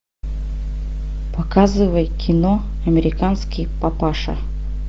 показывай кино американский папаша